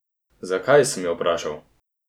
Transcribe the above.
Zakaj, sem jo vprašala.